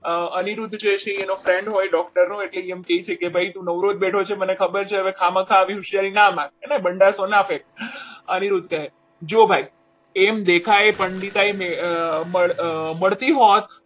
અનિરુદ્ધ જે હોય છે અને friend હોય છે doctor એમ કે છે કે કે ભાઈ તું નવરો જ બેઠો છે મને ખબર છે હવે કામ આવી હોશિયારી ના માર બંડાશો અનિરુદ્ધ કહે જો ભાઈ એમ દેખાય બળતી હોત